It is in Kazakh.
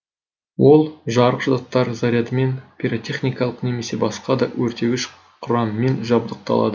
ол жарғыш заттар зарядымен пиротехникалық немесе басқа да өртегіш құраммен жабдықталады